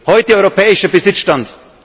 hat. Heute europäischer Besitzstand.